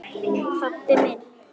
Pabbi minn?